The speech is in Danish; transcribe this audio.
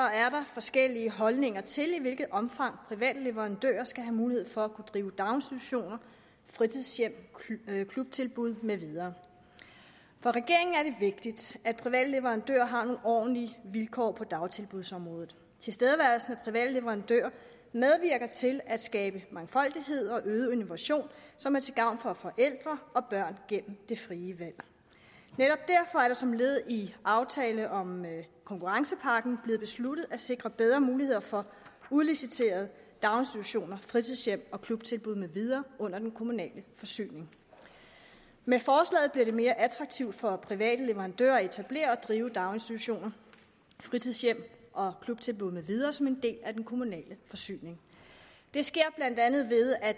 forskellige holdninger til i hvilket omfang private leverandører skal have mulighed for at drive daginstitutioner fritidshjem klubtilbud med videre for regeringen er det vigtigt at private leverandører har nogle ordentlige vilkår på dagtilbudsområdet tilstedeværelsen af private leverandører medvirker til at skabe mangfoldighed og øget innovation som er til gavn for forældre og børn gennem det frie valg netop derfor er det som led i aftalen om konkurrencepakken blevet besluttet at sikre bedre muligheder for udliciterede daginstitutioner fritidshjem klubtilbud med videre under den kommunale forsyning med forslaget bliver det mere attraktivt for private leverandører at etablere og drive daginstitutioner fritidshjem klubtilbud med videre som en del af den kommunale forsyning det sker blandt andet ved at